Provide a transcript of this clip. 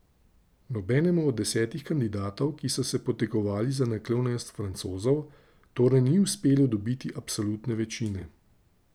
Nobenemu od desetih kandidatov, ki so se potegovali za naklonjenost Francozov, torej ni uspelo dobiti absolutne večine.